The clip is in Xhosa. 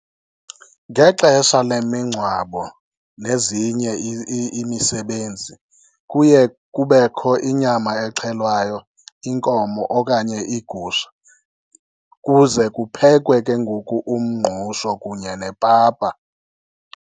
Ngexesha lemingcwabo nezinye imisebenzi kuye kubekho inyama exhelwayo, inkomo okanye igusha. Kuze kuphekwe ke ngoku umngqusho kunye nepapa.